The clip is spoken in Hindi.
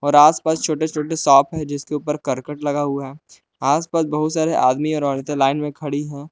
और आसपास छोटे छोटे शॉप है जिसके ऊपर करकट लगा हुआ है आसपास बहुत सारे आदमी और औरतें लाइन में खड़ी है।